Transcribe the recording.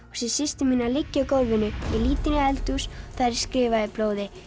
sé systur mína liggja í gólfinu ég lít inn í eldhús þar er skrifað í blóði